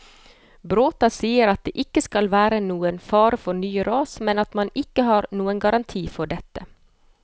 Bråta sier at det ikke skal være fare for nye ras, men at man ikke har noen garanti for dette.